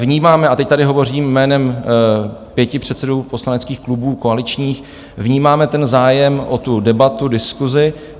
Vnímáme, a teď tady hovořím jménem pěti předsedů poslaneckých klubů koaličních, vnímáme ten zájem o tu debatu, diskusi.